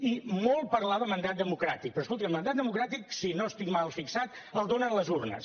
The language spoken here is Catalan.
i molt parlar de mandat democràtic però escolti’m el mandat democràtic si no estic mal fixat el donen les urnes